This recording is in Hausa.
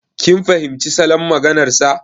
Kin fahimci salon maganar sa.